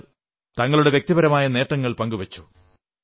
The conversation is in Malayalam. ചിലർ തങ്ങളുടെ വ്യക്തിപരമായ നേട്ടങ്ങൾ പങ്കുവച്ചു